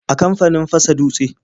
A kamfanin fasa dutse.